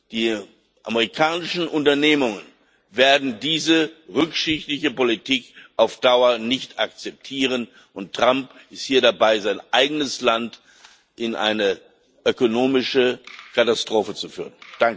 Die amerikanischen Unternehmungen werden diese rückschrittliche Politik auf Dauer nicht akzeptieren. Trump ist hier dabei, sein eigenes Land in eine ökonomische Katastrophe zu führen.